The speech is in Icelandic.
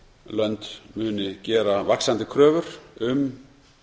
lönd muni gera vaxandi kröfur um